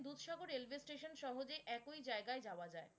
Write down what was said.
Dudhsagar railway station সহজেই একই জায়গায় যাওয়া যায়।